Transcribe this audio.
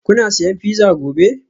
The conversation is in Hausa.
Kuna siyan pizza gobe?